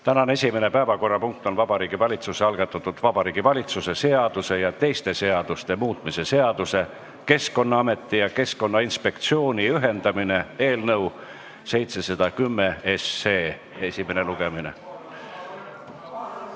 Tänane esimene päevakorrapunkt on Vabariigi Valitsuse algatatud Vabariigi Valitsuse seaduse ja teiste seaduste muutmise seaduse eelnõu esimene lugemine.